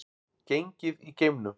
Gengið í geimnum